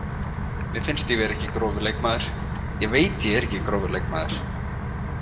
Mér finnst ég ekki grófur leikmaður, ég veit ég er ekki grófur leikmaður.